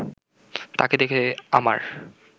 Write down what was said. তাকে দেখে আমার